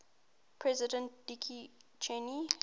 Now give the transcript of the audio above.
president dick cheney